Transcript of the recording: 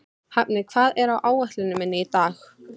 Hafni, hvað er á áætluninni minni í dag?